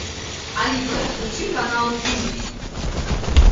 алиса включи канал ю